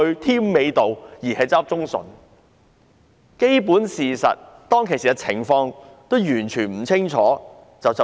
他對基本事實及當時的情況完全不清楚便發言。